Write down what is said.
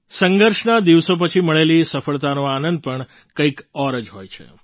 સંઘર્ષના દિવસો પછી મળેલી સફળતાનો આનંદ પણ કંઈક ઓર જ હોય છે